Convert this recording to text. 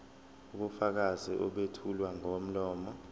ubufakazi obethulwa ngomlomo